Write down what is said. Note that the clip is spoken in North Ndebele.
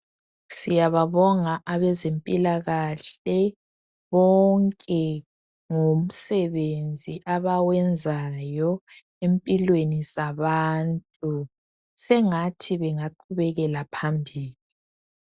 Siyababonga abezempilakahle bonke ngomsebenzi abawenzayo empilweni zabantu. Sengathi bengaqhubekela phambili.